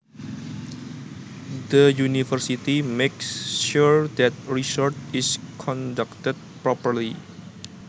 The university makes sure that research is conducted properly